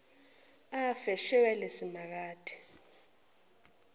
afe shwele simakade